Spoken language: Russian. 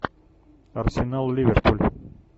арсенал ливерпуль